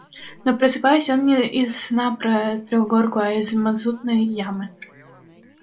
но просыпался он не из сна про трехгорку а из мазутной ямы